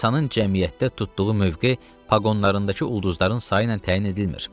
İnsanın cəmiyyətdə tutduğu mövqe paqonlarındakı ulduzların sayı ilə təyin edilmir.